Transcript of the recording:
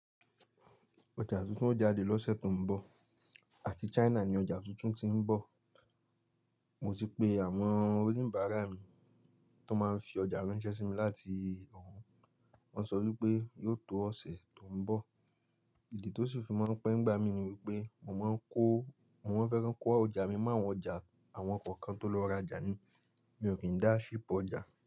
Ọjà tuntun ó jáde lọ́sẹ̀ tó ń bọ̀, àti China ni ọjà tuntun tí ń bọ̀. Mo ti pe àwọn oníbàárà mi tó máa ń fi ọjà ránṣẹ́ sí mi láti ọ̀hún, wọ́n sọ wípé yóò tó ọ̀sẹ̀ tó ń bọ̀. Ìdí tó sì fi máa ń pẹ́ nígbà mí ní wípé mo máa ń kó, mo máa fẹ́ kan kó ọjà mi mọ́ àwọn ọjà àwọn kọ̀ọ̀kan tó lọ rajà ni, mi ò kí ń dá á ṣhip ọjà.